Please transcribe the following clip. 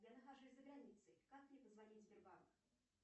я нахожусь за границей как мне позвонить в сбербанк